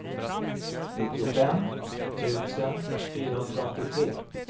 nittiofem tusen fyrahundraåttiotre